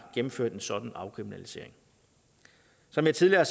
gennemført en sådan afkriminalisering som jeg tidligere